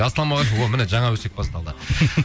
ассалаумағалейкум о міне жаңа өсек басталды